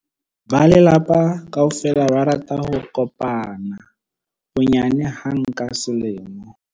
Ba lelapa kaofela ba rata ho kopana bonyane hang ka selemo.